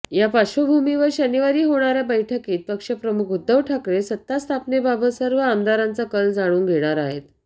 या पार्श्वभुमीवर शनिवारी होणाऱया बैठकीत पक्षप्रमुख उद्धव ठाकरे सत्तास्थापनेबाबत सर्व आमदारांचा कल जाणून घेणार आहेत